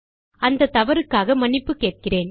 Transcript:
அந்த தவறுக்காக மன்னிப்பு கேட்கிறேன்